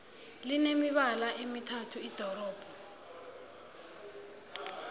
line mibala emithathu irobodo